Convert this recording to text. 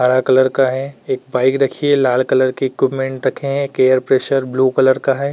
हरा कलर का है। एक बाइक रखी है लाल कलर की। इक्विपमेंट रखे हैं। एक एयरप्रेसर ब्लू कलर का है।